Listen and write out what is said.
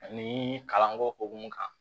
Ani kalanko hukumu kan